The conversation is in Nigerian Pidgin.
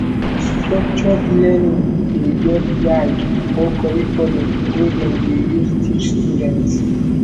structured learning de get guide or curriculum wey dem de use teach students